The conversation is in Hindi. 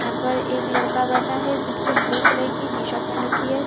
यहां पर एक लड़का बैठा है जिसने ब्लू कलर की टी शर्ट पहन रखी है।